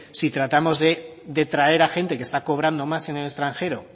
si tratamos de traer a gente que está cobrando más en el extranjero